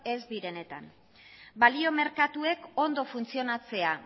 ez direnetan balio merkatuek ondo funtzionatzea